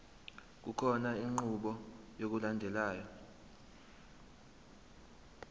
kukhona inqubo yokulandelayo